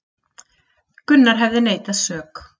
Gunnar hefði neitað sök